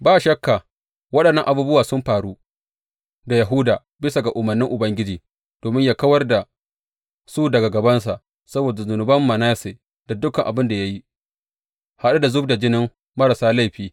Ba shakka waɗannan abubuwa sun faru da Yahuda bisa ga umarnin Ubangiji domin yă kawar da su daga gabansa saboda zunuban Manasse da dukan abin da ya yi, haɗe da zub da jinin marasa laifi.